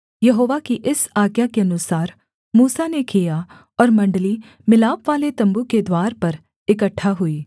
यहोवा की इस आज्ञा के अनुसार मूसा ने किया और मण्डली मिलापवाले तम्बू के द्वार पर इकट्ठा हुई